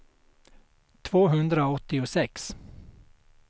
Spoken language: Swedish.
tvåhundraåttiosex